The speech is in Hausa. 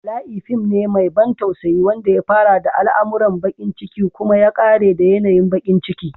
Bala'i fim ne mai ban tausayi wanda ya fara da al'amuran bakin ciki kuma ya ƙare da yanayin bakin ciki.